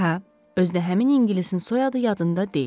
Hə, özü də həmin ingilisin soyadı yadında deyil.